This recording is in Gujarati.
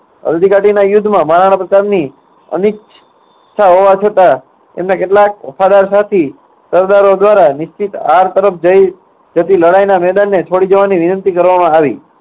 હલ્દી ઘાટીના યુદ્ધમાં મહારાણા પ્રતાપની અનિચ્છા હોવા છતાં એમના કેટલાક વફાદાર સાથી સરદારો દ્વારા નિશ્ચિત હાર તરફ જઈ, જતી લડાઈના મેદાનને છોડી દેવાની વિનંતી કરવામાં આવી.